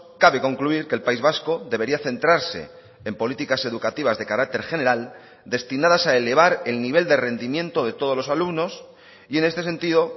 cabe concluir que el país vasco debería centrarse en políticas educativas de carácter general destinadas a elevar el nivel de rendimiento de todos los alumnos y en este sentido